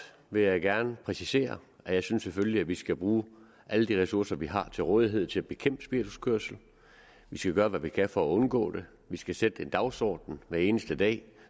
vil jeg gerne præcisere at jeg selvfølgelig synes vi skal bruge alle de ressourcer vi har til rådighed til at bekæmpe spirituskørsel vi skal gøre hvad vi kan for at undgå det vi skal sætte en dagsorden hver eneste dag